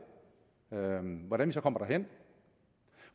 hvordan vi så kommer derhen